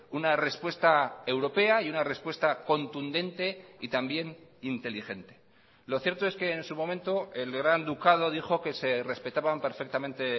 una respuesta europea y una respuesta contundente y también inteligente lo cierto es que en su momento el gran ducado dijo que se respetaban perfectamente